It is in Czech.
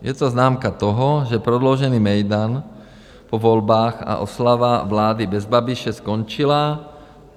Je to známka toho, že prodloužený mejdan po volbách a oslava vlády bez Babiše skončila.